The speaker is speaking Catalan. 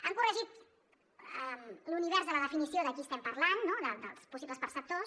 han corregit l’univers de la definició de qui estem parlant no dels possibles perceptors